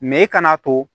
i kana to